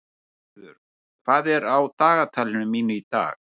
Málfríður, hvað er á dagatalinu mínu í dag?